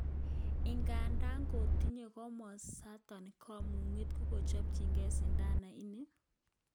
Ingandan kotinye komosaton kamuget kochopchige sidanan ni?